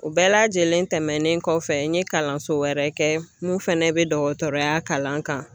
O bɛɛ lajɛlen tɛmɛnen kɔfɛ n ye kalanso wɛrɛ kɛ mun fana bɛ dɔgɔtɔrɔya kalan kan